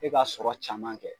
E b'a sɔrɔ caman kɛ